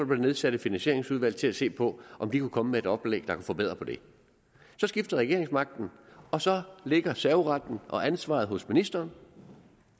der nedsat et finansieringsudvalg til at se på om de kunne komme med et oplæg der kunne forbedre det så skiftede regeringsmagten og så ligger serveretten og ansvaret hos ministeren